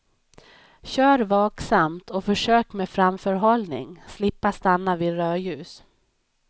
Kör vaksamt och försök med framförhållning slippa stanna vid rödljus.